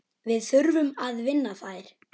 Við þurfum að vinna þær.